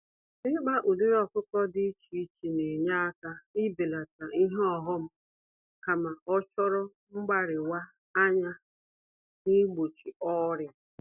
Ịkpa ụdịrị ọkụkọ dị iche iche nenye àkà ibelata ihe ọghom, kama ochoro mgbáríwa-anya nigbochi ọrịa.